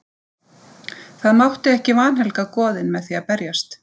Það mátti ekki vanhelga goðin með því að berjast.